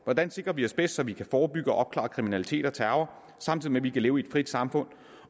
hvordan sikrer vi os bedst så vi kan forebygge og opklare kriminalitet og terror samtidig med at vi kan leve i et frit samfund